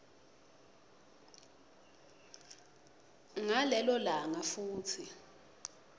ngalelo langa futsi